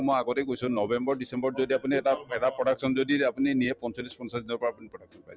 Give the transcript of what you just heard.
মই আগতেই কৈছো november december ত যদি আপুনি এটা production যদি আপুনি নিয়ে পঞ্চল্লিশ পঞ্চাশ দিনৰ পৰা আপুনি production পাই যাব